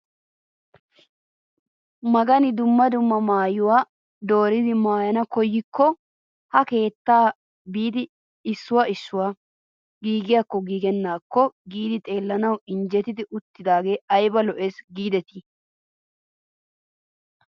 Magani dumma dumma maayuwaa dooridi maayanawu koyikko ha keettaa biidi issuwaa issuwaa gigiyaakkonne giigennaakonne giidi xeellanawu injjettidi uttidagee ayba lo"ees gidetii!